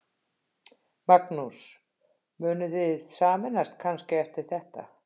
Magnús: Munuð þið sameinast kannski eftir þetta?